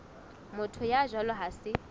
motho ya jwalo ha se